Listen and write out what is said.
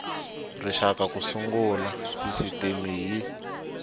rixaka ku sungula sisitimi y